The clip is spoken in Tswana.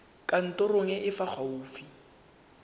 kantorong e e fa gaufi